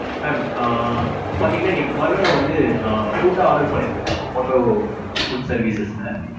mam. ஆ பாத்தீங்கன்னா இன்னைக்கு காலையில நான் வந்து ஆ food order பண்ணியிருந்தேன். உங்க Motto food services ல.